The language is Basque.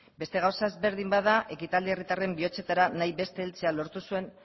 beste gauza ezberdin bat da ekitaldia herritarren bihotzetara nahi beste heltzea lortu zuen